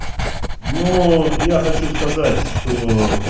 нуу я хочу сказать чтоо